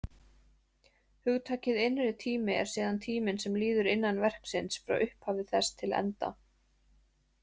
Hugtakið innri tími er síðan tíminn sem líður innan verksins, frá upphafi þess til enda.